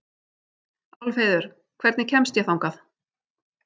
Álfheiður, hvernig kemst ég þangað?